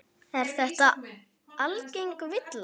Er þetta algeng villa.